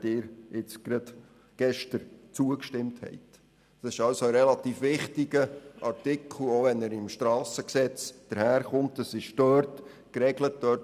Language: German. Dieser Artikel ist relativ wichtig, auch wenn dieser im SG geregelt ist.